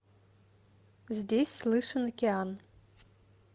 здесь слышен океан